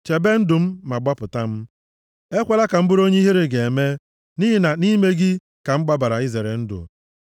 Chebe ndụ m ma gbapụta m; ekwela ka m bụrụ onye ihere ga-eme, nʼihi na nʼime gị ka m gbabara izere ndụ